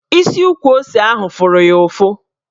Isi ukwu ose ahụ fụrụ ya ụfụ